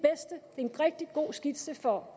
rigtig god skitse for